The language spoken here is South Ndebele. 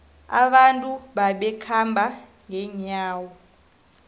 abantu babekhamba ngenyawo